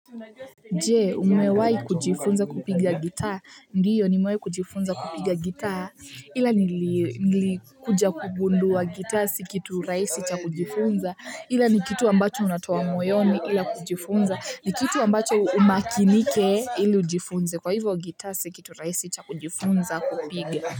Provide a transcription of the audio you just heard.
Jee umewai kujifunza kupiga gitaa? Ndiyo nimewai kujifunza kupiga gitaa ila nilii nlikuja kugundua gita si kitu raisi cha kujifunza ila ni kitu ambacho unatawa moyoni ila kujifunza ni kitu ambacho umakinike ili ujifunze kwa hivyo gita si kitu raisi cha kujifunza kupiga.